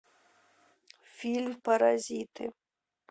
фильм паразиты